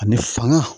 Ani fanga